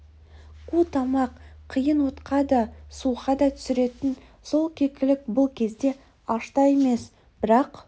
қу тамақ қиын отқа да суға да түсіретін сол кекілік бұл кезде аш та емес бірақ